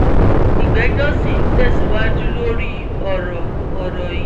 ìgbẹ́jọ́ sì ń tẹ̀síwájú lórí ọ̀rọ̀ ọ̀rọ̀ yìí